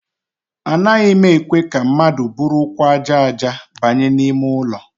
Anaghị ekwe ka ndị mmadụ buru ụkwụ aja aja banye n'ime ụlọ.